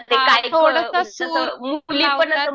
हां थोडंसं सूर लावतात.